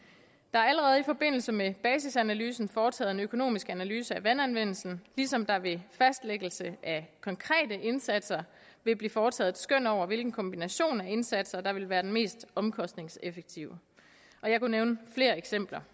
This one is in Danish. er allerede i forbindelse med basisanalysen foretaget en økonomisk analyse af vandanvendelsen ligesom der ved fastlæggelse af konkrete indsatser vil blive foretaget et skøn over hvilken kombination af indsatser der vil være den mest omkostningseffektive og jeg kunne nævne flere eksempler